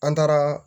An taara